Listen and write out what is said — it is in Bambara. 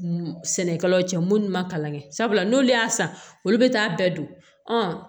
Sɛnɛkɛlaw cɛ minnu ma kalan kɛ sabula n'olu y'a san olu bɛ taa bɛɛ don